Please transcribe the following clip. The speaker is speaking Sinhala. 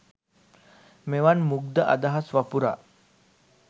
මෙවන් මුග්ධ අදහස් වපුරා